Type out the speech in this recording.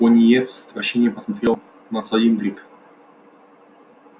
пониетс с отвращением посмотрел на цилиндрик